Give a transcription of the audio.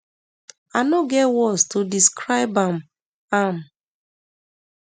i no get words to describe am am um